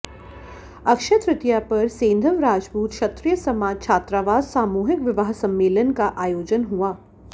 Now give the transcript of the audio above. अक्षय तृतीया पर सेंधव राजपूत क्षत्रिय समाज छात्रावास सामूहिक विवाह सम्मेलन का आयोजन हुआ